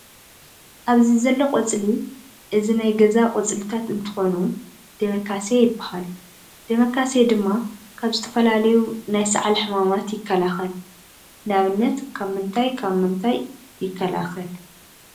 ኣብዚዘሎ ቆፅሊ እዚ ናይ ገዛ ቆፅሊታት እንትኮኑ ደሜካሴ ይባሃል። ደመካሴ ድማ ካብ ዝተፈላለዩ ናይ ሰዓል ሕማማት ይከላከል። ንኣብነት ካብ ምንታይ ካብ ምንታይ ይከላከል?